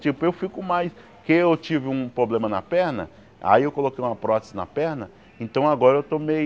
Tipo, eu fico mais que eu tive um problema na perna, aí eu coloquei uma prótese na perna, então agora eu estou meio